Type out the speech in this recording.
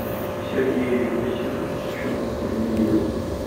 сергею иосифовичу велиеву